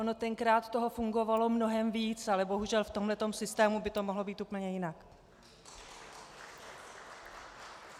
Ono tenkrát toho fungovalo mnohem víc, ale bohužel v tomhle systému by to mohlo být úplně jinak.